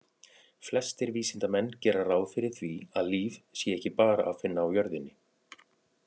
Flestir vísindamenn gera ráð fyrir því að líf sé ekki bara að finna á jörðinni.